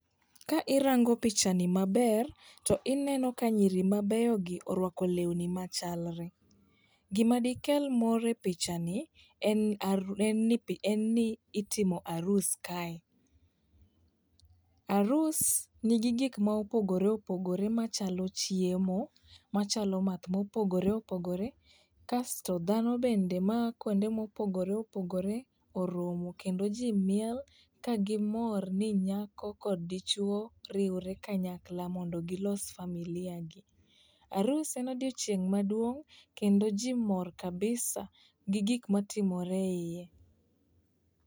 Ka irango pichani maber, to ineno ka nyiri mabeyogi orwako lewni machalre. Gima dikelo mor e pichani en itimo arus kae. Arus nigi gik mopogore opogore machalo chiemo, machalo math mopogore opogore, kasto dhano bende ma a kwonde ma opogore opogore oromo kendo ji miel ka gimor ni nyako kod dichuwo riwore kanyakla, mondo gilos familia gi. Arus en odiochieng' maduong',kendo ji mor kabisa gi gik matimore eiye.